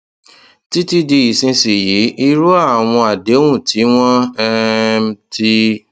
títí di ìsinsìnyí irú àwọn àdéhùn tí wọn um ti